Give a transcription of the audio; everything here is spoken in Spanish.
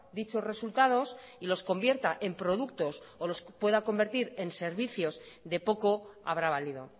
dichos resultados y los convierta en productos o los pueda convertir en servicios de poco habrá valido